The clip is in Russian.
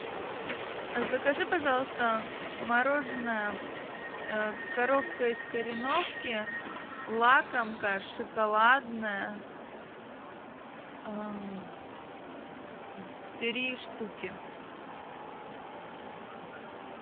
закажи пожалуйста мороженое коровка из кореновки лакомка шоколадное три штуки